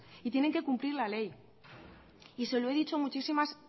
y tienen que cumplir la ley y se lo he dicho